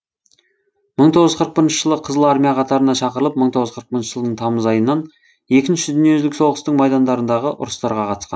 мың тоғыз жүз қырық бірінші жылы қызыл армия қатарына шақырылып мың тоғыз жүз қырық бірінші жылдың тамыз айынан екінші дүниежүзілік соғыстың майдандарындағы ұрыстарға қатысқан